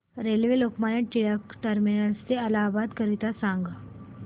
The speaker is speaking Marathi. रेल्वे लोकमान्य टिळक ट ते इलाहाबाद करीता सांगा